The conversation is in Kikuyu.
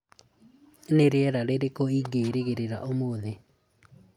nĩ rĩera rĩrĩkũ ingĩrĩgĩrĩra ũmũthĩ